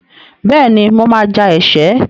Bẹ́ẹ̀ni, mo máa ja ẹ̀ṣẹ́.